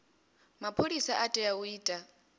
mapholisa u tea u ita